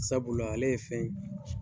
Sabula ale ye fɛn